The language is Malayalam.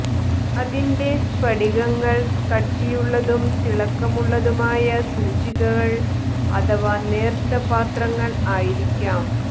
അതിന്റെ സ്ഫടികങ്ങൾ കട്ടിയുള്ളതും തിളക്കമുള്ളതുമായ സൂചികൾ അഥവാ നേർത്ത പാത്രങ്ങൾ ആയിരിക്കാം